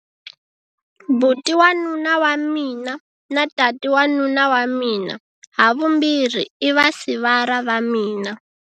Buti wa nuna wa mina na tati wa nuna wa mina havumbirhi i vasivara va mina.